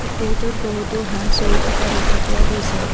পুখুৰীটোত বহুতো হাঁহ চৰি থকা দেখা পোৱা গৈছে।